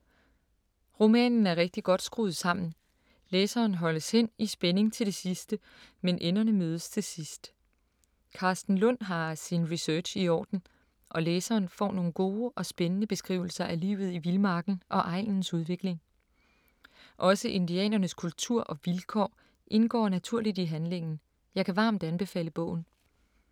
Romanen er rigtig godt skruet sammen. Læseren holdes hen i spænding til det sidste, men enderne mødes til sidst. Karsten Lund har sin research i orden, og læseren får nogle gode og spændende beskrivelser af livet i vildmarken og egnens udvikling. Også indianernes kultur og vilkår indgår naturligt i handlingen. Jeg kan varmt anbefale bogen.